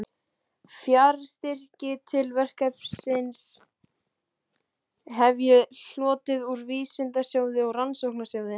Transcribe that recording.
Fjárstyrki til verksins hef ég hlotið úr Vísindasjóði og Rannsóknarsjóði